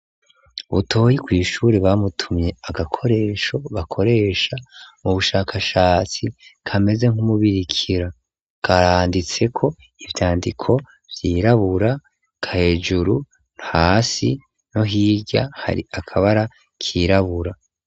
Butoyi kw'ishure bamutumye agakoresho bakoresha mu bushakashatsi kameze nk'umubirikira karanditseko ivyandiko vyirabura hejuru hasi no hirya hari akabara kirabura.